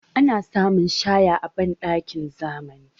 Ana samun shaya a banɗakin zamani.